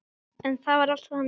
En það var alltaf þannig.